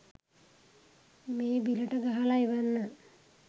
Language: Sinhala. මේ බිලට ගහල එවන්න